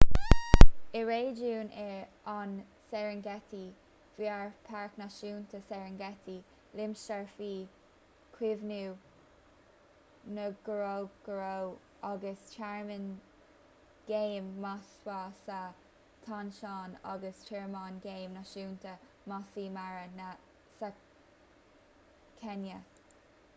i réigiún an serengeti gheofar páirc náisiúnta serengeti limistéar faoi chaomhnú ngorongoro agus tearmann géim maswa sa tansáin agus tearmann géim náisiúnta maasai mara sa chéinia